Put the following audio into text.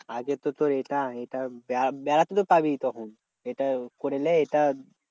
আগে তো তোর এটা এটা বে বেড়াতে তো পাবি তখন এটা করেন এটা